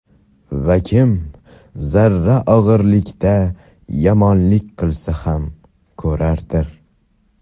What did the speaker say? Va kim zarra og‘irligida yomonlik qilsa ham ko‘radir.